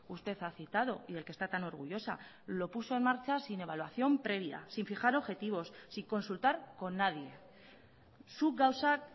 usted ha citado y del que está tan orgullosa lo puso en marcha sin evaluación previa sin fijar objetivos sin consultar con nadie zuk gauzak